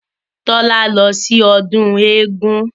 Tọ́lá lọ sí ọdún eégún